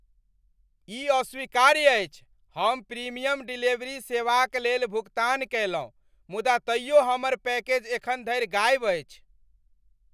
ई अस्वीकार्य अछि! हम प्रीमियम डिलीवरी सेवाक लेल भुगतान कयलहुँ, मुदा तैयो हमर पैकेज एखन धरि गायब अछि!